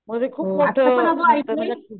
मध्ये खूप मोठं मॅटर झालं,